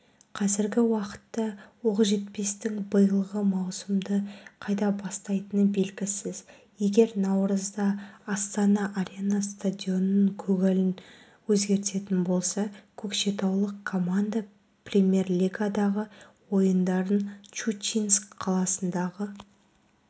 қазіргі уақытта оқжетпестің биылғы маусымды қайда бастайтыны белгісіз егер наурызда астана-арена стадионының көгалын өзгертетін болса көкшетаулық команда премьер-лигадағы ойындарын щучинск қаласындағы